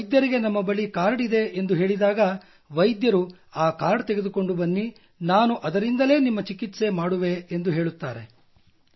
ನಾವು ವೈದ್ಯರಿಗೆ ನಮ್ಮ ಬಳಿ ಕಾರ್ಡ್ ಇದೆ ಎಂದು ಹೇಳಿದಾಗ ವೈದ್ಯರು ಆ ಕಾರ್ಡ್ ತೆಗೆದುಕೊಂಡು ಬನ್ನಿ ನಾನು ಅದರಿಂದಲೇ ನಿಮ್ಮ ಚಿಕಿತ್ಸೆ ಮಾಡುವೆ ಎಂದು ಹೇಳುತ್ತಾರೆ